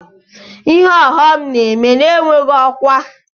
Ihe ọghọm na-eme na-enweghị ọkwa.